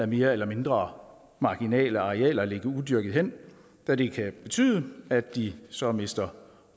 mere eller mindre marginale arealer ligge udyrkede hen da det kan betyde at de så mister